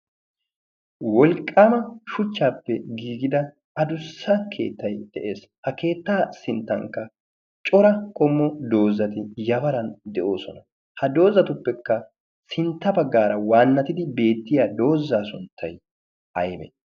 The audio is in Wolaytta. wolqqaama shuchchaappe giigida adussa keettay de'ees ha keettaa sinttankka cora qommo doozzati yabaran de'oosona ha doozatuppekka sintta baggaara waannatidi beettiya doozzaa sunttay aybbe